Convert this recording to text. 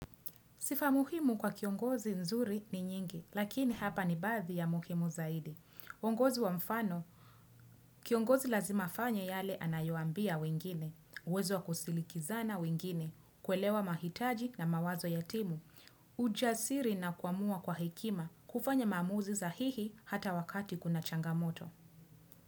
Sifa muhimu kwa kiongozi nzuri ni nyingi, lakini hapa ni baadhi ya muhimu zaidi. Ongozi wa mfano, kiongozi lazima afanye yale anayoambia wengine, uwezo wa kusilikizana wengine, kuelewa mahitaji na mawazo ya timu, ujasiri na kuamua kwa hekima, kufanya mzamuzi sahihi hata wakati kuna changamoto.